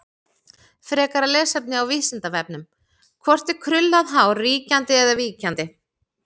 Frekara lesefni á Vísindavefnum: Hvort er krullað hár ríkjandi eða víkjandi?